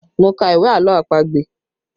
Mo ka ìwé àlọ́ àpagbè